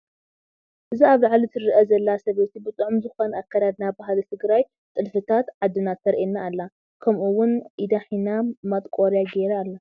እዛ ኣብ ላዓሊ ትርአ ዘላ ሰበይቲ ብጥዑም ዝኾነ ኣከዳድና ባህሊ ትግራይ ጥልፍታት ዓድና ተርኤና ኣላ። ከምኡ እውን ኢዳ ሒና ማጥቆርያ ጌራ ኣላ።